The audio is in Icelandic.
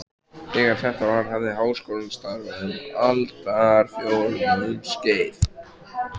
Þegar þetta var, hafði Háskólinn starfað um aldarfjórðungs skeið.